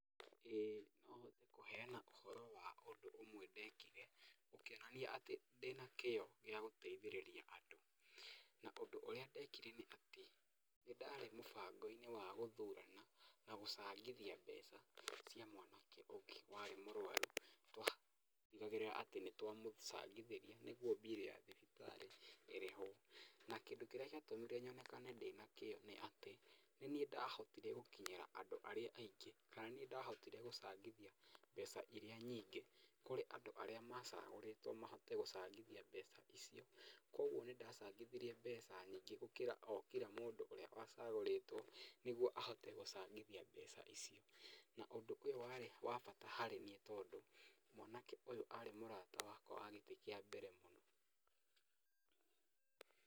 ĩĩ no hote kũheana ũhoro wa ũndũ ũmwe ndekire ũkĩonania atĩ ndĩna kĩyo gĩa gũteithĩrĩria andũ. Na ũndũ ũrĩa ndekire nĩ atĩ nĩ ndarĩ mũbango-inĩ wa gũthurana na gũcangithia mbeca cia mwanake ũngĩ warĩ mũrwaru, twatigagĩrĩra atĩ nĩ twamũcangithĩria nĩguo mbirũ ya thibitarĩ ĩrĩhwo. Na kĩndũ kĩrĩa gĩatũmire nyonekane ndĩ na kĩyo nĩ atĩ, nĩ niĩ ndahotire gũkinyira andũ arĩa aingĩ, kana nĩ niĩ ndahotore gũcangithia mbeca iria nyingĩ kũrĩ andũ arĩa macagũrĩtwo mahote gũcangithia mbeca icio, kuũguo nĩ ndacangithirie mbeca nyingĩ gũkĩra o kira mũndũ ũrĩa wacagũrĩtwo nĩguo ahote gũcangithia mbeca icio. Na ũndũ ũyũ warĩ wa bata harĩ niĩ tondũ mwanake ũyũ arĩ mũrata wakwa wa gĩtĩ kĩa mbere mũno.